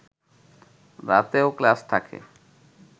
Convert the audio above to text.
রাতেও ক্লাস থাকে